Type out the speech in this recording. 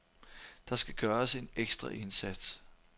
Der skal gøres en ekstra indsats.